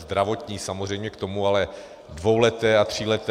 Zdravotní samozřejmě k tomu, ale dvouleté a tříleté...